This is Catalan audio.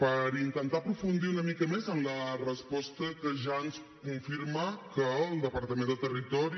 per intentar aprofundir una mica més en la resposta que ja ens confirma que el departament de territori